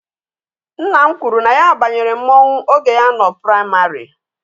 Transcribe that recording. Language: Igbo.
Nna m kwuru na ya banyere mmọnwụ oge ya nọ praịmarị.